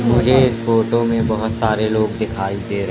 मुझे इस फोटो में बहुत सारे लोग दिखाई दे--